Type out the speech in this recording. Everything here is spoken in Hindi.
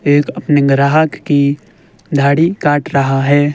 एक अपने ग्राहक की धाड़ी काट रहा है।